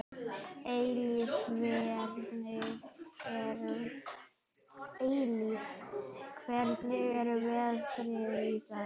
Eilíf, hvernig er veðrið í dag?